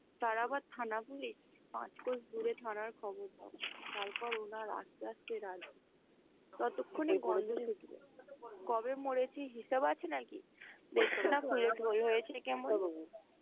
তার আবার থানা পুলিশ পাঁচ ক্রোশ দূরে থানার খবর তারপর ওরা আস্তে আস্তে ততক্ষণে কবে মরেছে হিসাব আছে নাকি? পেটটা ফুলে ঢোল হয়েছে কেমন ।